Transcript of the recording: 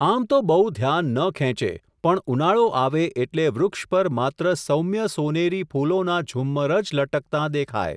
આમ તો બહુ ધ્યાન ન ખેંચે, પણ ઉનાળો આવે એટલે વૃક્ષ પર માત્ર સૌમ્ય સોનેરી ફૂલોનાં ઝુમ્મરજ લટકતાં દેખાય.